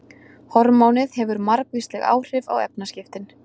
Hormónið hefur margvísleg áhrif á efnaskiptin.